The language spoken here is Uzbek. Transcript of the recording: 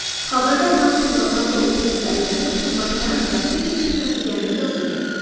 Xabarda Maqsudova mayda o‘g‘irlikda ayblanib, xizmatidan vaqtincha chetlatilgani yozilgan.